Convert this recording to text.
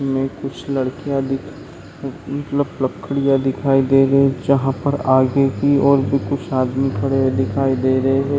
में कुछ लड़किया दिख लक लकड़ियाँ दिखाई दे रही है जहा पर आगे की ओर और भी कुछ आदमी खड़े हुए दिखाई दे रहे है।